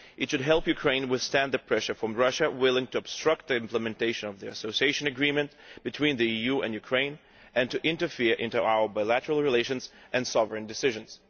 This should help Ukraine to withstand the pressure from Russia, which is willing to obstruct the implementation of the Association Agreement between the EU and Ukraine and to interfere in our bilateral relations and sovereign decisions.